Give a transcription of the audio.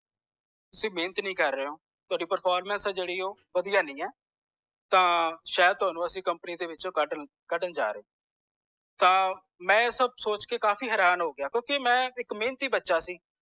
ਤੁਸੀ ਮੇਹਨਤ ਨੀ ਕਰ ਰਹੇ ਹੋ ਥੌਡੀ performance ਆ ਜੇੜੀ ਆ ਓਹ ਵਦੀਆਂ ਨੀ ਹੈ ਤਾਂ ਸ਼ਾਇਦ ਥੌਨੂੰ ਅੱਪਾਂ company ਦੇ ਵਿੱਚੋ ਕੱਢਣ ਜਾਰੇ ਆ ਤਾਂ ਮੈਂ ਇਹ ਸਬ ਸੋਚ ਕੇ ਹੈਰਾਨ ਹੋ ਗਿਆ ਕਿਓਂਕਿ ਮੈਂ ਬਹੁਤ ਹੀ ਮੇਹਨਤੀ ਬਚਾ ਸੀ